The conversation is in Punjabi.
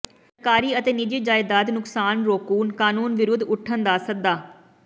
ਸਰਕਾਰੀ ਅਤੇ ਨਿੱਜੀ ਜਾਇਦਾਦ ਨੁਕਸਾਨ ਰੋਕੂ ਕਾਨੂੰਨ ਵਿਰੁੱਧ ਉੱਠਣ ਦਾ ਸੱਦਾ